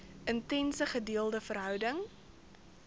intense gedeelde verhouding